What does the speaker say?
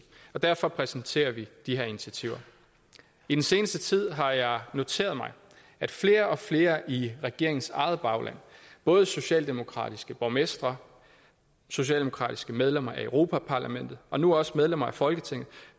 derfor præsenterer vi de her initiativer i den seneste tid har jeg noteret mig at flere og flere i regeringens eget bagland både socialdemokratiske borgmestre socialdemokratiske medlemmer af europa parlamentet og nu også medlemmer af folketinget